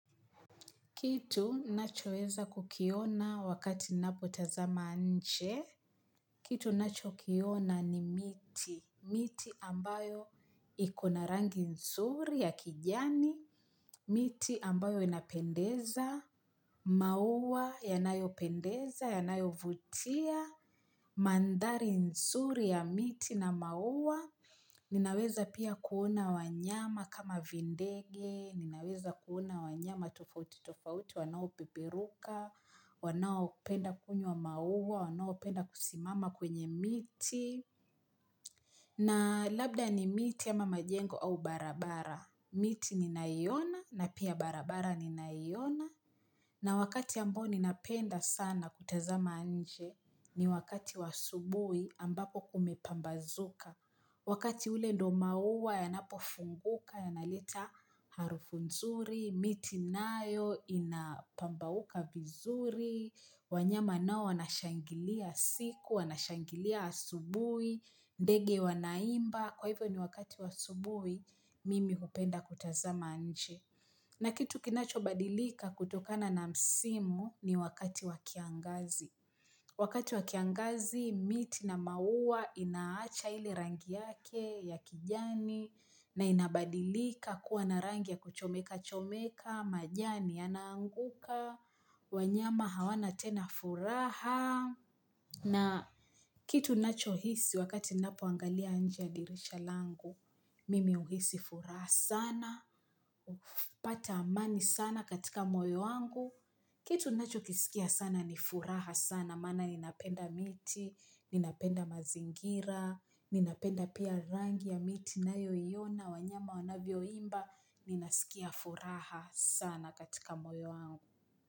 Kitu nachoweza kukiona wakati napotazama nje, kitu nachokiona ni miti, miti ambayo ikona rangi nzuri ya kijani, miti ambayo inapendeza, maua yanayo pendeza, yanayo vutia, mandhari nzuri ya miti na maua. Ninaweza pia kuona wanyama kama vindege, ninaweza kuona wanyama tofauti tofauti, wanao peperuka, wanao penda kunywa maua, wanaopenda kusimama kwenye miti. Na labda ni miti ama majengo au barabara, miti ni nayoona na pia barabara ninayoona. Na wakati ambao ninapenda sana kutazama nje ni wakati wa asubuhi ambapo kumepambazuka. Wakati ule ndio mauwa yanapo funguka yanaleta harufu nzuri, miti nayo inapambauka vizuri, wanyama nao wanashangilia siku, wanashangilia asubuhi, ndege wanaimba, kwa hivyo ni wakati wa asubuhi mimi hupenda kutazama nje. Na kitu kinacho badilika kutokana na msimu ni wakati wa kiangazi. Wakati wa kiangazi, miti na maua inaacha ile rangi yake ya kijani, na inabadilika kuwa na rangi ya kuchomeka chomeka, majani ya naanguka. Wanyama hawana tena furaha na kitu ninacho hisi wakati ninapo angalia nje ya dirisha langu Mimi uhisi furaha sana Upata amani sana katika moyo wangu kitu nacho kisikia sana ni furaha sana maana ninapenda miti, ninapenda mazingira Ninapenda pia rangi ya miti na yoiona wanyama wanavyo imba Ninasikia furaha sana katika moyo wangu.